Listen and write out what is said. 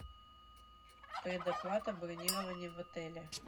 предоплата бронирования в отеле